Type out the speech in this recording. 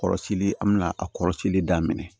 Kɔrɔsili an bɛna a kɔrɔsili daminɛ